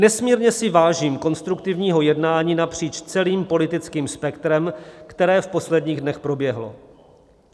Nesmírně si vážím konstruktivního jednání napříč celým politickým spektrem, které v posledních dnech proběhlo.